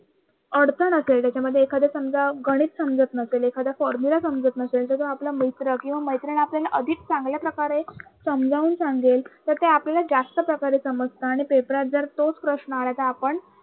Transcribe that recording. अडचण असेल त्याच्यामध्ये एखाद समजा गणित समजत नसेल, एखादा formula समजत नसेल त्याचा आपल्याला मित्र किंवा मैत्रीण आपल्याला अधिक चांगल्या प्रकारे समजावून सांगेल तर ते आपल्याला जास्त प्रकारे समजत आणि पेपरात जर तोच प्रश्न आला तर आपण